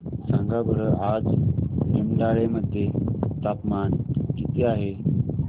सांगा बरं आज निमडाळे मध्ये तापमान किती आहे